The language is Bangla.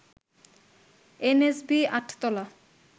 এনএসবি আট তলা